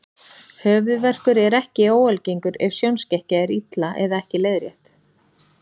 Höfuðverkur er ekki óalgengur ef sjónskekkja er illa eða ekki leiðrétt.